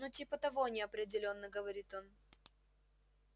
ну типа того неопределённо говорит он